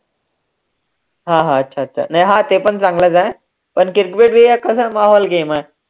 हा हा, अच्छा अच्छा, नाही हा ते पण चांगलच आहे, पण ते वेगळी घे मग